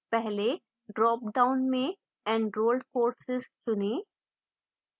पहले drop down में enrolled courses चुनें